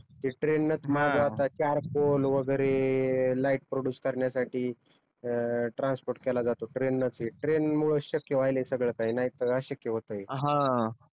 ते ट्रेन न च माल जात आहे चार कोल वगेरे लाइट प्रोड्युस करण्यासाठी अं ट्रान्स्पोर्ट केला जातो ट्रेन नच आहे ट्रेन मूळच शक्य व्हायल सगळ काही नाही तर अशक्य होत हे